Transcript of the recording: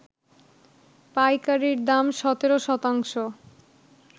পাইকারির দাম ১৭ শতাংশ